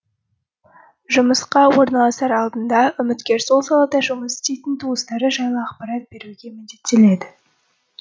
жұмысқа орналасар алдында үміткер сол салада жұмыс істейтін туыстары жайлы ақпарат беруге міндеттеледі